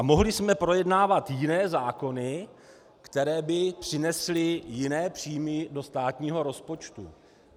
A mohli jsme projednávat jiné zákony, které by přinesly jiné příjmy do státního rozpočtu.